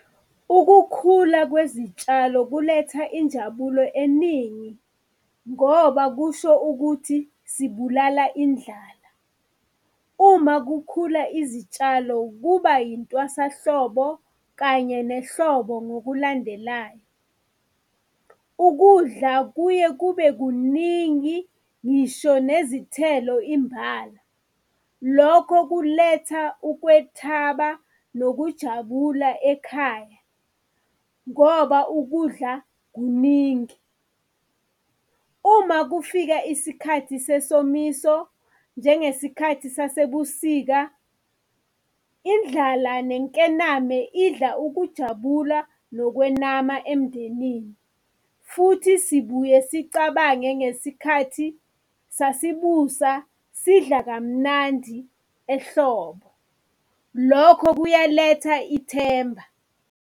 Ukukhula kwezitshalo kuletha injabulo eningi, ngoba kusho ukuthi sibulala indlala. Uma kukhula izitshalo, kuba yintwasahlobo kanye nehlobo ngokulandelayo. Ukudla kuye kube kuningi ngisho nezithelo imbala. Lokho kuletha ukwethaba nokujabula ekhaya, ngoba ukudla kuningi. Uma kufika isikhathi sesomiso, njengesikhathi sasebusika, indlala nenkename idla ukujabula nokwenama emndenini. Futhi sibuye sicabange ngesikhathi sasibusa sidla kamnandi ehlobo, lokho kuyaletha ithemba.